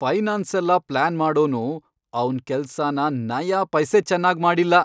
ಫೈನಾನ್ಸೆಲ್ಲ plan ಮಾಡೋನು ಅವ್ನ್ ಕೆಲ್ಸನ ನಯಾಪೈಸೆ ಚೆನಾಗ್ ಮಾಡಿಲ್ಲ.